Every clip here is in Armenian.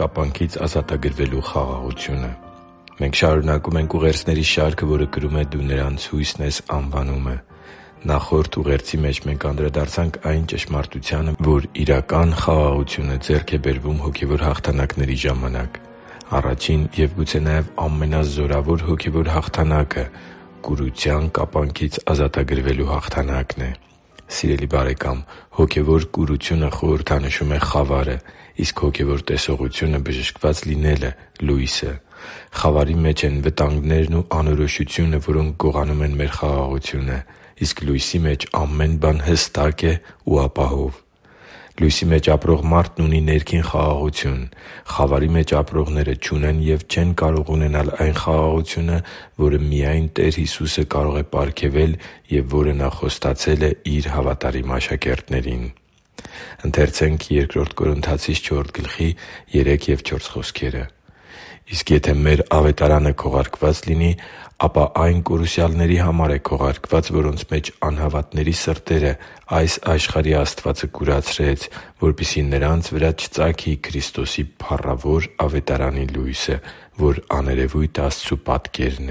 կապանքից ազատագրվելու խաղաղությունը Մենք շարունակում ենք ուղերձների շարքը, որը կրում է «Դու նրանց հույսն ես․․․»անվանումը։ Նախորդ ուղերձի մեջ մենք անդրադարձանք այն ճշմարտությանը, որ իրական խաղաղությունը ձեռք է բերվում հոգևոր հաղթանակների ժամանակ։ Առաջին, և գուցե նաև` ամենազորավոր հոգևոր հաղթանակը կուրության կապանքից ազատագրվելու հաղթանակն է։ Սիրելի՛ բարեկամ, հոգևոր կուրությունը խորհրդանշում է խավարը, իսկ հոգևոր տեսողության բժշկված լինելը՝ լույսը։ Խավարի մեջ են վտանգներն ու անորոշությունը, որոնք գողանում են մեր խաղաղությունը։ Իսկ լույսի մեջ ամեն բան հստակ է ու ապահով։ Լույսի մեջ ապրող մարդն ունի ներքին խաղաղություն։ Խավարի մեջ ապրողները չունեն և չեն կարող ունենալ այդ խաղաղությունը, որը միայն Տեր Հիսուսը կարող է պարգևել և որը Նա խոստացել է Իր հավատարիմ աշակերտներին։ «Իսկ եթե մեր Ավետարանը քողարկված լինի, ապա այն կորուսյալների համար է քողարկված, որոնց մեջ անհավատների սրտերը այս աշխարհի աստվածը կուրացրեց, որպեսզի նրանց վրա չծագի Քրիստոսի փառավոր Ավետարանի լույսը, որ աներևույթ Աստծու պատկերն է» (Բ Կորնթացիս 4․3-4):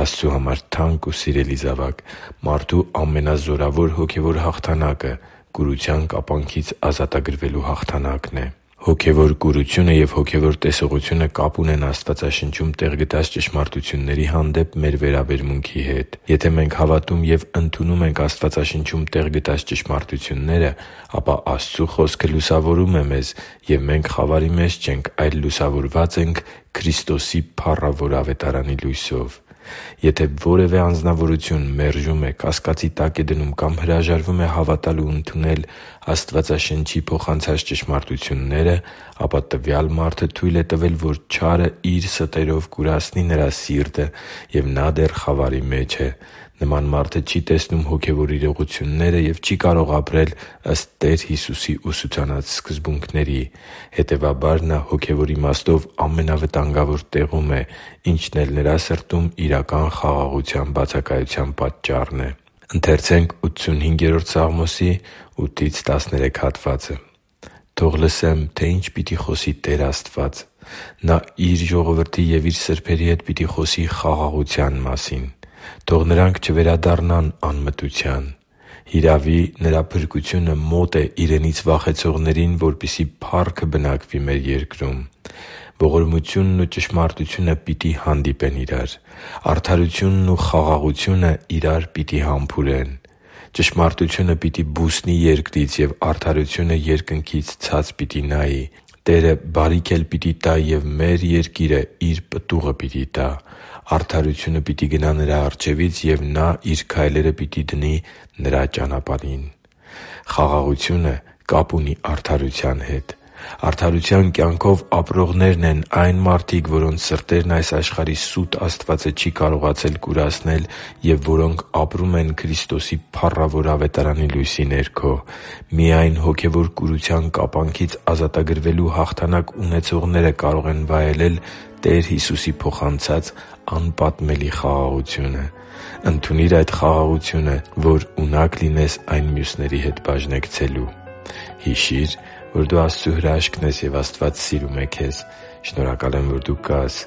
Աստծո համար թանկ ու սիրելի՛ զավակ, մարդու ամենազորավոր հոգևոր հաղթանակը կուրության կապանքից ազատագրվելու հաղթանակն է։ Հոգևոր կուրությունը և հոգևոր տեսողությունը կապ ունեն Աստվածաշնչում տեղ գտած ճշմարտությունների հանդեպ մեր վերաբերմունքի հետ։ Եթե մենք հավատում և ընդունում ենք Աստվածաշնչում տեղ գտած ճշմարտությունները, ապա Աստծու Խոսքը լուսավորում է մեզ, և մենք խավարի մեջ չենք, այլ լուսավորված ենք Քրիստոսի փառավոր Ավետարանի լույսով։ Եթե որևէ անձնավորություն մերժում է, կասկածի տակ է դնում կամ հրաժարվում է հավատալ ու ընդունել Աստվածաշնչի փոխանցած ճշմարտությունները, ապա տվյալ մարդը թույլ է տվել, որ չարը իր ստերով կուրացնի նրա սիրտը, և նա դեռ խավարի մեջ է։ Նման մարդը չի տեսնում հոգևոր իրողությունները և չի կարող ապրել ըստ Տեր Հիսուսի ուսուցանած սկզբունքների։ Հետևաբար, նա հոգևոր իմաստով ամենավտանգավոր տեղում է, ինչն էլ նրա սրտում իրական խաղաղության բացակայության պատճառն է։ «Թող լսեմ, թե ինչ պիտի խոսի Տեր Աստվածը. Նա Իր ժողովրդի և Իր սրբերի հետ պիտի խոսի խաղաղության մասին. թող նրանք չվերադառնան անմտության։ Հիրավի, Նրա փրկությունը մոտ է Իրենից վախեցողներին, որպեսզի փառքը բնակվի մեր երկրում։ Ողորմությունն ու ճշմարտությունը պիտի հանդիպեն իրար, արդարությունն ու խաղաղությունը իրար պիտի համբուրեն։ Ճշմարտությունը պիտի բուսնի երկրից, և արդարությունը երկնքից ցած պիտի նայի։ Տերը բարիք էլ պիտի տա, և մեր երկիրը իր պտուղը պիտի տա։ Արդարությունը պիտի գնա նրա առջևից, և նա իր քայլերը պիտի դնի Նրա ճանապարհին» (Սաղմոս 85․8-13): Խաղաղությունը կապ ունի արդարության հետ։ Արդարության կյանքով ապրողներն այն մարդիկ են, որոնց սրտերն այս աշխարհի սուտ աստվածը չի կարողացել կուրացնել և որոնք ապրում են Քրիստոսի փառավոր Ավետարանի լույսի ներքո։ Միայն հոգևոր կուրության կապանքից ազատագրվելու հաղթանակ ունեցողները կարող են վայելել Տեր Հիսուսի փոխանցած անպատմելի խաղաղությունը։ Ընդունի՛ր այդ խաղաղությունը, որ ունակ լինես այն մյուսների հետ բաժնեկցելու․․․ Հիշի՛ր, որ դու Աստծո հրաշքն ես, և Աստված սիրում է քեզ։ Շնորհակալ եմ, որ դու կա՛ս